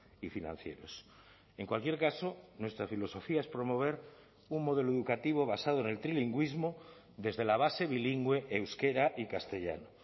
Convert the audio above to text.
y financieros en cualquier caso nuestra filosofía es promover un modelo educativo basado en el trilingüismo desde la base bilingüe euskera y castellano